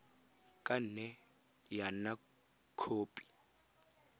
ka nne ya nna khopi